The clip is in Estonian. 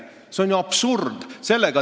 See on ju absurd!